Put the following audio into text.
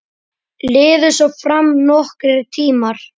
Liðu svo fram nokkrir tímar.